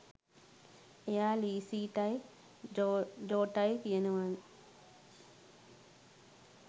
එයා ලීසිටයි ජෝටයි කියනවනේ.